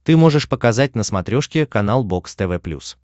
ты можешь показать на смотрешке канал бокс тв плюс